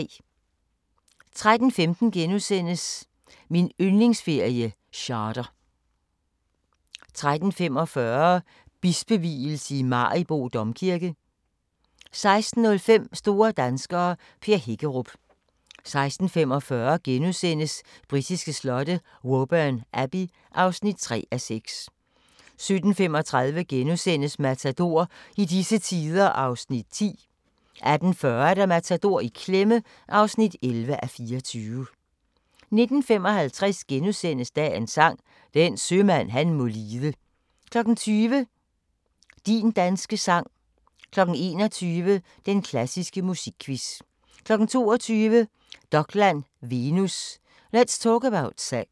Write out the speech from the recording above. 13:15: Min yndlingsferie: Charter * 13:45: Bispevielse i Maribo Domkirke 16:05: Store danskere - Per Hækkerup 16:45: Britiske slotte: Woburn Abbey (3:6)* 17:35: Matador - i disse tider (10:24)* 18:40: Matador - i klemme (11:24) 19:55: Dagens Sang: Den sømand han må lide * 20:00: Din danske sang 21:00: Den klassiske musikquiz 22:00: Dokland: Venus – Let's talk about sex